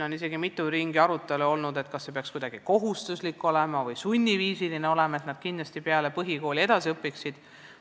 On isegi olnud mitu aruteluringi, kas see peaks olema kuidagi kohustuslik või sunniviisiline, et nad kindlasti peale põhikooli edasi õpiksid.